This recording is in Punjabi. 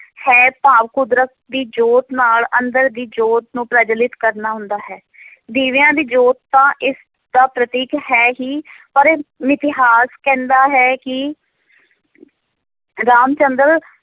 ਹੈ ਭਾਵ ਕੁਦਰਤ ਦੀ ਜੋਤ ਨਾਲ ਅੰਦਰ ਦੀ ਜੋਤ ਨੂੰ ਪ੍ਰਜਵੱਲਿਤ ਕਰਨਾ ਹੁੰਦਾ ਹੈ ਦੀਵਿਆਂ ਦੀ ਜੋਤ ਤਾਂ ਇਸ ਦਾ ਪ੍ਰਤੀਕ ਹੈ ਹੀ ਪਰ ਮਿਥਿਹਾਸ ਕਹਿੰਦਾ ਹੈ ਕਿ ਰਾਮ ਚੰਦਰ